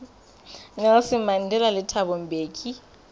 nelson mandela le thabo mbeki